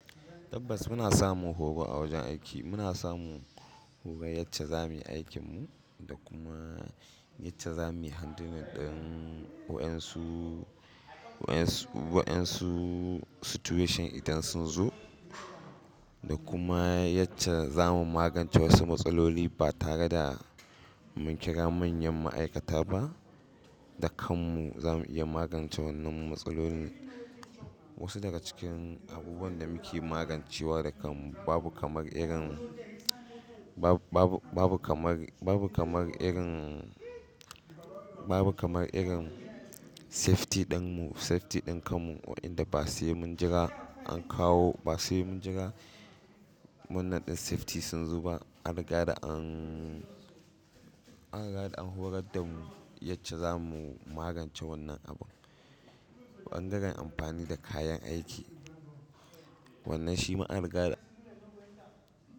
Tabbas muna samun horo a wajen aiki, muna samun horar yacce za muyi aikin mu da kuma yacce za muyi handling ɗin waƴansu, waƴansu waƴansu situation idan sun zo. Da kuma yacce za mu magance wasu matsaloli ba tare da mun kira manyan ma'aikata ba. Da kan mu za mu iya magance wannan matsalolin. Wasu daga cikin abubuwan da muke magancewa da kan mu babu kamar irin, bab- babu babu kamar, babu kamar irin, babu kamar irin safety ɗin mu, safety ɗin kan mu waƴanda ba sai mun jira an kawo, ba sai mun jira wannan ɗin safety sun zo ba. An riga da an, an riga da an horar da mu yacce za mu magance wannan abun. Ɓangaren amfani da kayan aiki wannan shi ma an riga da.